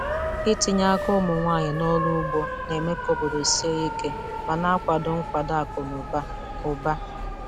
Ntinye aka ụmụ nwanyị n'ọrụ ugbo na-eme ka obodo sie ike ma na-akwado nkwado akụ na ụba. ụba.